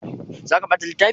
Za ka bata littafi?